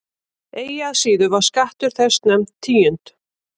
Eigi að síður var skattur þessi nefnd tíund.